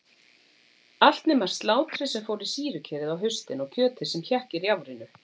Allt nema slátrið sem fór í sýrukerið á haustin og kjötið sem hékk í rjáfrinu.